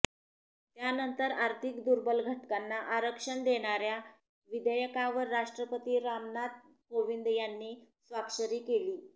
त्यानंतर आर्थिक दुर्बल घटकांना आरक्षण देण्याऱ्या विधेयकावर राष्ट्रपती रामनाथ कोविंद यांनी स्वाक्षरी केली